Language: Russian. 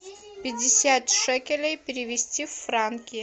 пятьдесят шекелей перевести в франки